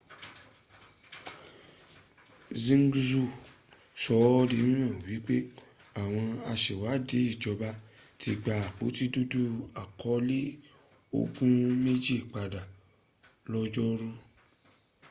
xinhua sọ ọ́ di mímọ̀ wípé àwọn asèwádìí ìjọba ti gba àpótí dúdú àkọọ́lẹ̀ ogun méjì padà lọ́jọ́ọ̀rú